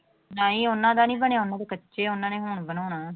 ਨਹੀਂ ਉਹਨਾਂ ਦਾ ਨੀ ਬਣਿਆ ਉਹਨਾਂ ਦੇ ਕੱਚੇ ਆ ਉਹਨਾਂ ਨੇ ਹੁਣ ਬਣਾਉਣਾ।